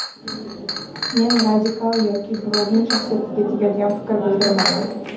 Men radikal yoki birovning shaxsiyatiga tegadigan fikr bildirmayman.